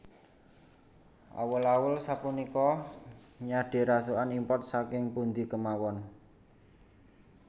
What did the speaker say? Awul awul sapunika nyade rasukan import saking pundi kemawon